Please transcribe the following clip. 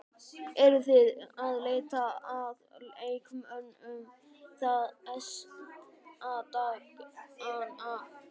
Eruð þið að leita að leikmönnum þessa dagana?